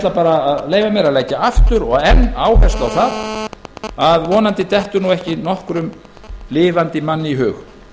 ætla að leyfa mér að leggja aftur og enn áherslu á það að vonandi dettur ekki nokkrum lifandi manni í hug